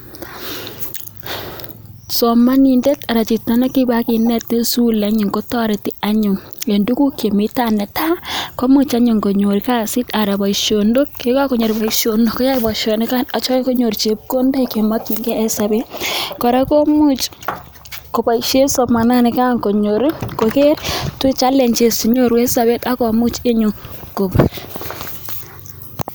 Somonindet anan chito nekibakinet en sukul kotoreti anyun en tuguk Chemi tai netai komuch anyun konyor kasit anan boisionik ye kagonyor boisionik koyoe boisionik yeityo konyor chepkondok Che mokyingei en sobet kora komuch koboisien somananigan konyor koger challenges Che nyoru en sobet ak komuch anyun kogon